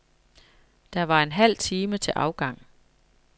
Der var en halv time til afgang.